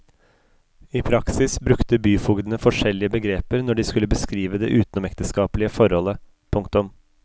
I praksis brukte byfogdene forskjellige begreper når de skulle beskrive det utenomekteskapelige forholdet. punktum